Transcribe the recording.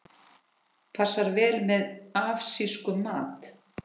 Passar vel með asískum mat.